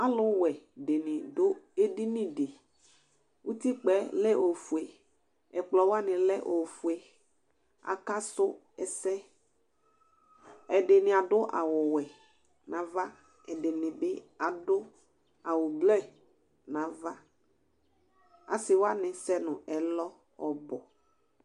Alʋwɛ dɩnɩ adʋ edini Utikpǝ yɛ lɛ ofue, ɛkplɔ wanɩ alɛ ofue Akasʋ ɛsɛ Ɛdɩnɩ adʋ awʋwɛ nʋ ava, ɛdɩnɩ bɩ adʋ awʋ ʋblɔ nʋ ava Asɩ wanɩ asɛ nʋ ɛlɔ ɔbʋ